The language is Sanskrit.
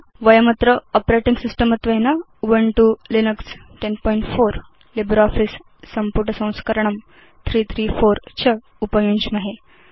वयमत्र आपरेटिंग सिस्टम् त्वेन उबुन्तु लिनक्स 1004 लिब्रियोफिस संपुटसंस्करणं 334 च उपयुञ्ज्महे